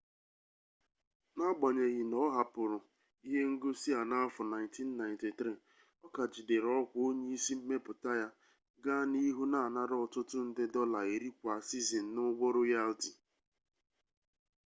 n'agbanyeghi na ọ hapụrụ ihe ngosi a n'afọ 1993 ọ ka jidere ọkwa onye isi mmepụta ya gaa n'ihu na-anara ọtụtụ nde dọla iri kwa sizin n'ụgwọ royalti